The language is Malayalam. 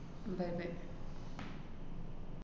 bye bye.